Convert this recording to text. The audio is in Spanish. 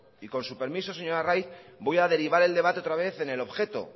y con su permiso señor arraiz voy a derivar el debate otra vez en el objeto